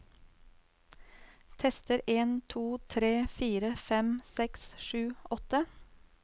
Tester en to tre fire fem seks sju åtte